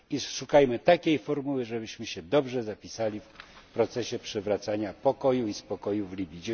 Szukajmy takiej formuły, żebyśmy się dobrze zapisali w procesie przywracania pokoju i spokoju w Libii.